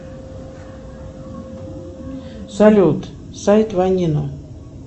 салют сайт ванино